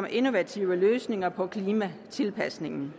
med innovative løsninger på klimatilpasningen